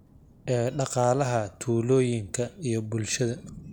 ee dhaqaalaha tuulooyinka iyo bulshada.